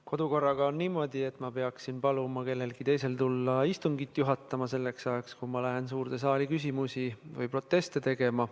Kodukorra järgi on niimoodi, et ma peaksin paluma kellelgi teisel tulla istungit juhatama selleks ajaks, kui ma lähen ise suurde saali küsimusi esitama või proteste tegema.